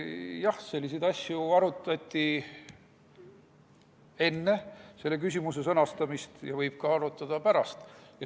Jah, selliseid asju arutati enne selle küsimuse sõnastamist ja võib arutada ka pärast.